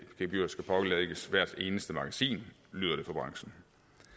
gebyr skal pålægges hvert eneste magasin lyder det fra branchen